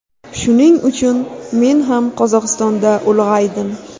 Shuning uchun men ham Qozog‘istonda ulg‘aydim”.